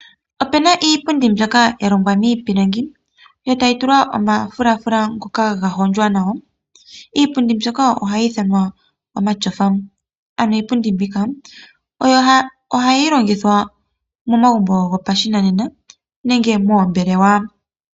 Opena iipundi mbyoka ya longwa miipilangi yo tayi tulwa omafulafula ngoka ga hondjwa nawa. Iipundi mbyoka ohayi ithanwa omashofa. Ano iipundi mbika ohayi longithwa momagumbo gopashinanena nenge moombelewa.